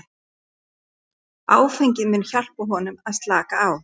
Áfengið myndi hjálpa honum að slaka á.